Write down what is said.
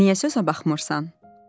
Niyə sözə baxmırsan?